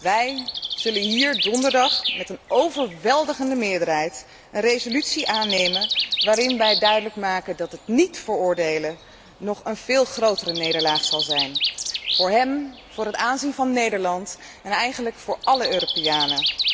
Wij zullen hier donderdag met een overweldigende meerderheid een resolutie aannemen waarin wij duidelijk maken dat het niet veroordelen nog een veel grotere nederlaag is, voor hem, voor het aanzien van Nederland en eigenlijk voor alle Europeanen.